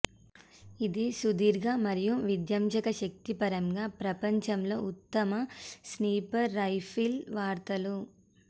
ఇది సుదీర్ఘ మరియు విధ్వంసక శక్తి పరంగా ప్రపంచంలో ఉత్తమ స్నిపర్ రైఫిల్ వార్తలు